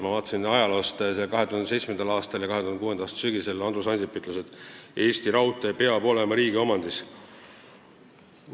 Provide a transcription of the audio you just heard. Ma vaatasin ajaloost veel, et 2007. aastal ja ka 2006. aasta sügisel Andrus Ansip ütles, et Eesti Raudtee peab olema riigi omandis.